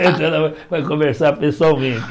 Então ela vai vai conversar pessoalmente.